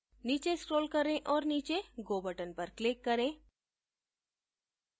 नीचे scroll करें और नीचे go button पर click करें